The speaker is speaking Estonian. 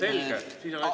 Selge, siis on hästi.